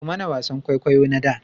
Ku mana wasan kwaikwayo na da